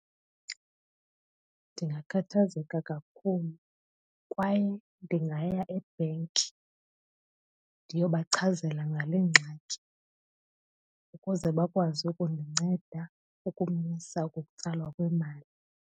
Ndingakhathazeka kakhulu kwaye ndingaya ebhenki ndiyobachazela ngale ngxaki ukuze bakwazi ukundinceda ukumisa ukutsalwa kwemali.